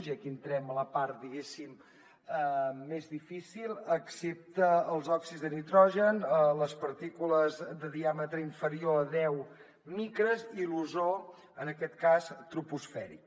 i aquí entrem a la part diguéssim més difícil excepte els òxids de nitrogen les partícules de diàmetre inferior a deu micres i l’ozó en aquest cas troposfèric